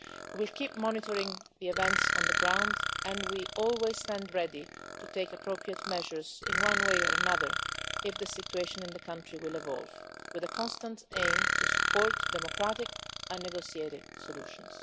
We continue to monitor events on the ground and we stand ready to take appropriate measures in one way or another if the situation in the country evolves, with the constant aim of supporting democratic and negotiated solutions.